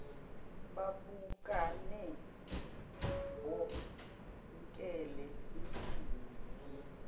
babukane bokhele insini